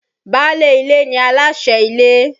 Báálé ilé ni aláṣẹ́ ilé.